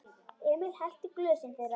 Emil hellti í glösin þeirra.